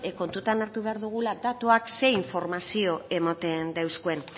kontuan hartu behar dugula datuek zer informazio ematen deuskuen